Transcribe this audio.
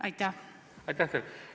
Aitäh teile!